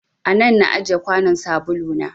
A nan na ajiye kwanon sabulu na.